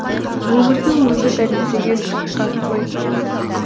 өмірдің өзі дәлелдеген ақиқат қой